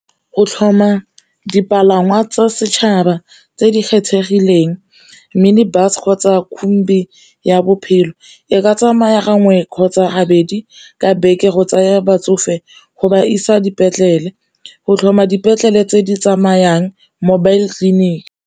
Go tlhoma dipalangwa tsa setšhaba tse di kgethegileng mini bus, ya bophelo e ka tsamaya gangwe kgotsa gabedi ka beke go tsaya batsofe go ba isa dipetlele, go tlhoma dipetlele tse di tsamayang mobile clinic.